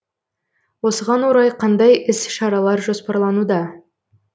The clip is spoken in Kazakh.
осыған орай қандай іс шаралар жоспарлануда